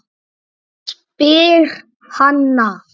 spyr Hanna.